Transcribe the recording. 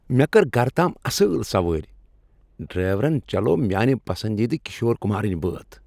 مےٚ كٔر گھرٕ تام اصل سوٲرۍ۔ ڈرائیورن چلٲو میانہِ پسندیدٕ كِشور كُمارٕنۍ بٲتھ ۔